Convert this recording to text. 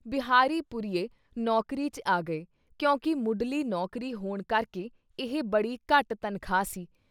ਬਿਹਾਰੀ ਪੁਰੀਏ ਨੌਕਰੀ ’ਚ ਆ ਗਏ ਕਿਉਂਕਿ ਮੁਢਲੀ ਨੌਕਰੀ ਹੋਣ ਕਰਕੇ ਇਹ ਬੜੀ ਘੱਟ ਤਨਖਾਹ ਸੀ।